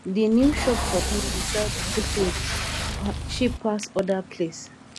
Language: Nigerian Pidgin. di new shop for town dey sell di same thing cheap pass other place